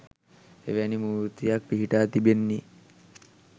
එවැනි මූර්තියක් පිහිටා තිබෙන්නේ